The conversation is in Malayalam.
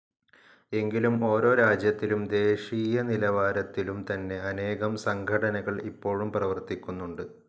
എങ്കിലും ഓരോ രാജ്യത്തിലും ദേശീയനിലവാരത്തിലും തന്നെ അനേകം സംഘടനകൾ ഇപ്പോഴും പ്രവർത്തിക്കുന്നുണ്ട്.